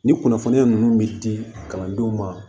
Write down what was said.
Ni kunnafoniya ninnu bɛ di kalandenw ma